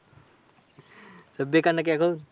বেকার নাকি এখন?